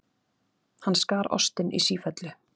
Hann skar ostinn í sífellu.